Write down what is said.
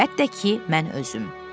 Əlbəttə ki, mən özüm.